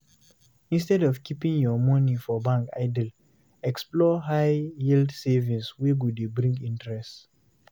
Instead of keeping your money for bank idle, explore high yield savings wey go dey bring interest